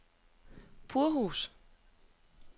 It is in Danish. Purhus